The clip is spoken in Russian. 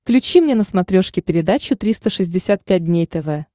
включи мне на смотрешке передачу триста шестьдесят пять дней тв